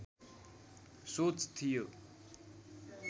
सोच थियो